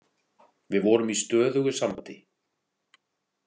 Við vorum í stöðugu sambandi.